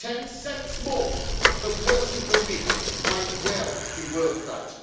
Ten cents more per person per week might well be worth that.